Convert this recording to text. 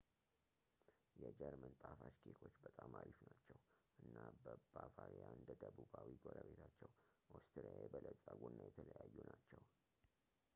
የጀርመን ጣፋጭ ኬኮች በጣም አሪፍ ናቸው እና በባቫሪያ እንደ ደቡባዊ ጎረቤታቸው ኦስትሪያ የበለጸጉ እና የተለያዩ ናቸው